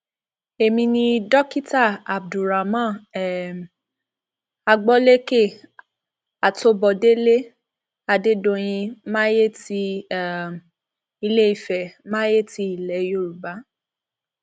èmi ni dókítà abdulramon um agboléke atọbodèlẹ adédọyìn maye ti um ilé ìfẹ maye ti ilẹ yorùbá